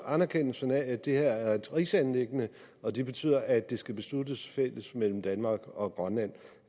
anerkendelsen af at det her er et rigsanliggende og det betyder at det skal besluttes fælles mellem danmark og grønland